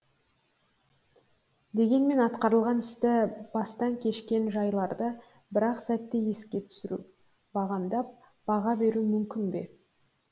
дегенмен атқарылған істі бастан кешкен жайларды бір ақ сәтте еске түсіру бағамдап баға беру мүмкін бе